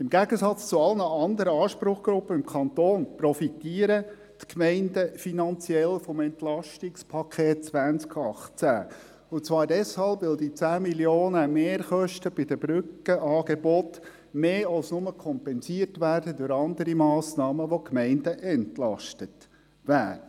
Im Gegensatz zu allen anderen Anspruchsgruppen im Kanton profitieren die Gemeinden finanziell vom EP 2018, und zwar deshalb, weil die 10 Mio. Franken Mehrkosten bei den Brückenangeboten durch andere Massnahmen, die die Gemeinden entlasten, mehr als nur kompensiert werden.